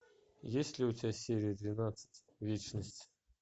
есть ли у тебя серия двенадцать вечность